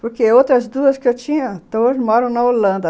Porque outras duas que eu tinha, todas moram na Holanda.